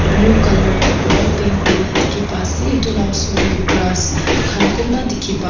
Blue colour pra paint kurina dekhe pa ase etu la osor dae grass khan kunba dekhe pa--